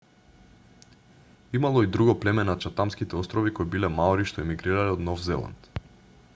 имало и друго племе на чатамските острови кои биле маори што емигрирале од нов зеланд